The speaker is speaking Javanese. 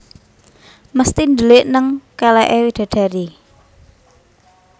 Mesti ndelik neng keleke widadari